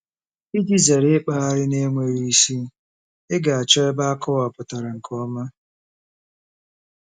Iji zere ịkpagharị na-enweghị isi, ị ga-achọ ebe akọwapụtara nke ọma.